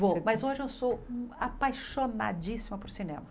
Vou, mas hoje eu sou apaixonadíssima por cinema.